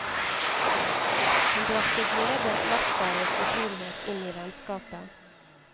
Hun bragte glede, latter og fortrolighet inn i vennskapet.